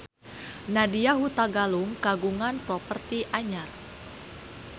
Nadya Hutagalung kagungan properti anyar